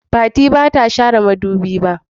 Fati ba ta share madubi ba.